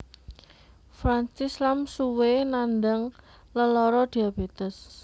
Francis Lam suwé nandhang lelara diabetes